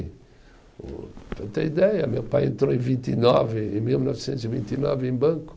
ter ideia, meu pai entrou em vinte e nove, em mil novecentos e vinte e nove em banco.